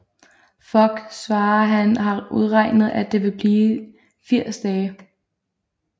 Fogg svarer at han har udregnet at det vil blive 80 dage